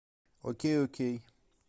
окей окей